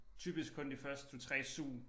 Typisk kun de første 2 3 sug